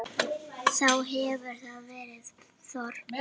Þá hefur þar verið þorp.